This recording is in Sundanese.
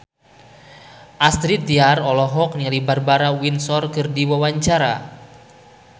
Astrid Tiar olohok ningali Barbara Windsor keur diwawancara